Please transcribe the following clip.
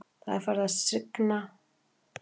Það er farið að rigna á Selfossi núna.